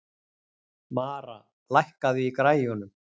Mara, lækkaðu í græjunum.